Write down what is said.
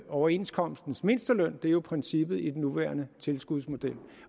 overenskomstmæssige mindsteløn det er jo princippet i den nuværende tilskudsmodel